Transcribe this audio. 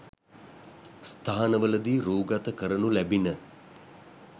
ස්ථානවලදී රූගත කරනු ලැබිණ